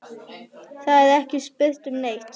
Það er ekki spurt um neitt.